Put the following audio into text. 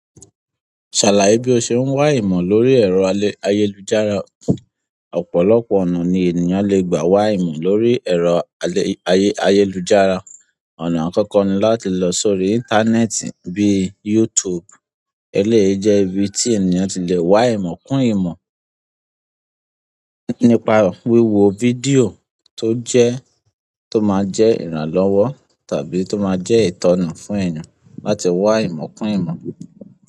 Ṣàlàye bí o ṣe ń wá ìmọ̀ lórí ẹ̀rọ ayélujára. Ọ̀pọ̀lọpọ̀ ọ̀nà ni ènìyàn le gbà wá ìmọ̀ lórí ẹ̀rọ ayélujára. Ọ̀nà àkọ́kọ́ ni láti lọ sórí íńtánẹ́ẹ̀tì bí i YouTube. E léyi jẹ́ ibi tí ènìyàn ti le wá ìmọ̀ kún ìmọ̀ nípa wíwo fídíò tó jẹ́, tó máa jẹ́ ìrànlọ́wọ́ tàbí tó máa jẹ́ ìtọ́nà fún ènìyàn láti wá ìmọ̀ kún ìmọ̀.